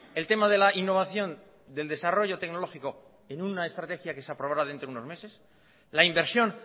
el tema de la innovación del desarrollo tecnológico en una estrategia que se aprobará dentro de unos meses la inversión